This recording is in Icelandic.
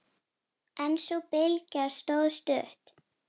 En sú bylgja stóð stutt.